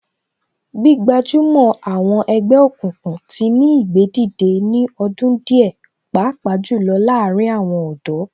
Gbígbajúmọ̀ àwọn ẹgbẹ́ òkùnkùn tí ní ìgbédìde ní ọdún díẹ̀ pàápàá jù lọ láàárín àwọn ọ̀dọ́